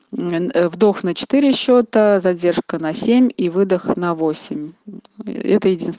вдох на четыре счета задержка на семь и выдох на восемь и это единст